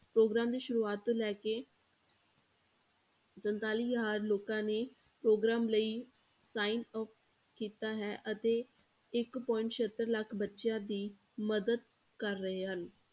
Programme ਦੀ ਸ਼ੁਰੂਆਤ ਤੋਂ ਲੈ ਕੇ ਸੰਤਾਲੀ ਹਜ਼ਾਰ ਲੋਕਾਂ ਨੇ ਪ੍ਰੋਗਰਾਮ ਲਈ sign up ਕੀਤਾ ਹੈ ਅਤੇ ਇੱਕ point ਸੱਤਰ ਲੱਖ ਬੱਚਿਆਂ ਦੀ ਮਦਦ ਕਰ ਰਹੇ ਹਨ।